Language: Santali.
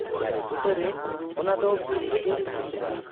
ᱫᱟᱨᱮ ᱵᱩᱴᱟᱹᱨᱮ ᱚᱱᱟᱫᱚ ᱵᱤᱞ ᱨᱮᱜᱮ ᱛᱟᱦᱮᱸ ᱠᱟᱱᱟ ᱾